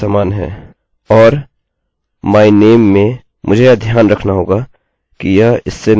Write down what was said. और my name में मुझे यह ध्यान रखना होगा कि यह इससे मैच होगा अन्यथा आपको कोई प्रतिक्रिया नहीं मिलेगी